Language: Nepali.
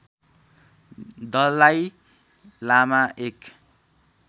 दलाई लामा एक